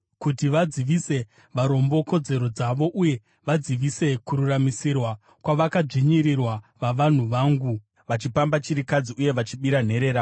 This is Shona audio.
kuti vadzivise varombo kodzero dzavo uye vadzivise kururamisirwa kwavakadzvinyirirwa vavanhu vangu, vachipamba chirikadzi uye vachibira nherera.